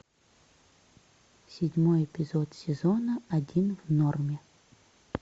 седьмой эпизод сезона один в норме